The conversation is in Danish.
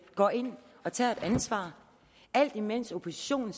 går ind og tager et ansvar alt imens oppositionen